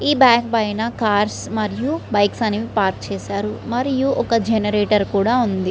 ఈ బ్యాంకు పైన car and bikes అన్ని పార్క్ చేసి ఉంది. మరియు జెనరేటర్ కూడా ఉంది.